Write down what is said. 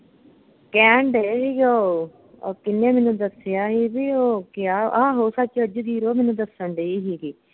ਕਹਿਣ ਢਏ ਹੀ ਗੇ ਓਹ ਓਹ ਕਿੰਨੇ ਮੈਨੂੰ ਦੱਸਿਆ ਹੀ ਬਈ ਓਹ ਕਿਹਾ ਆਹੋ ਸੱਚ ਜਗੀਰੋ ਮੈਨੂੰ ਦੱਸਣ ਢਈ ਹੀਗੀ